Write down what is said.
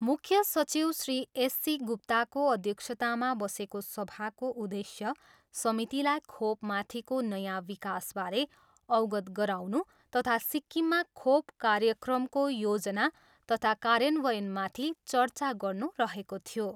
मुख्य सचिव श्री एससी गुप्ताको अध्यक्षतामा बसेको सभाको उद्देश्य समितिलाई खोपमाथिको नयाँ विकासबारे अवगत गराउनु तथा सिक्किममा खोप कार्यक्रमको योजना तथा कार्यान्वयनमाथि चर्चा गर्नु रहेको थियो।